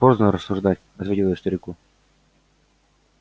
поздно рассуждать ответил я старику